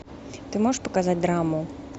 ты можешь показать драму